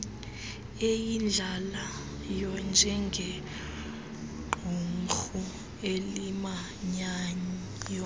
eyidlalayo njengequmrhu elimanyayo